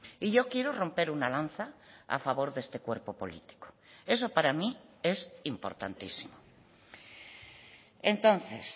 y yo quiero romper una lanza a favor de este cuerpo político eso para mí es importantísimo entonces